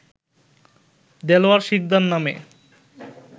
দেলোয়ার শিকদার নামে